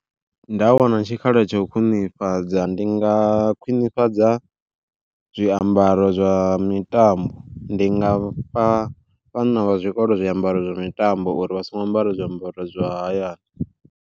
Nda wana tshikhala tsha u khwiṋifhadza, ndi nga khwiṋifhadza zwiambaro zwa mitambo ndi nga fha vhana vha zwikolo zwiambaro zwa mitambo uri vha songo ambara zwiambaro zwa hayani.